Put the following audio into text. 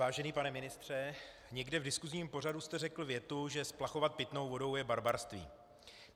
Vážený pane ministře, někde v diskusním pořadu jste řekl větu, že splachovat pitnou vodou je barbarství.